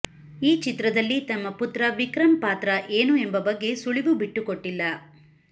ಈ ಚಿತ್ರದಲ್ಲಿ ತಮ್ಮ ಪುತ್ರ ವಿಕ್ರಂ ಪಾತ್ರ ಏನು ಎಂಬ ಬಗ್ಗೆ ಸುಳಿವು ಬಿಟ್ಟುಕೊಟ್ಟಿಲ್ಲ